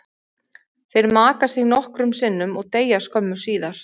Þeir maka sig nokkrum sinnum og deyja skömmu síðar.